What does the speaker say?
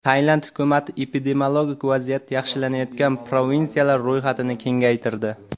Tailand hukumati epidemiologik vaziyat yaxshilanayotgan provinsiyalar ro‘yxatini kengaytirdi.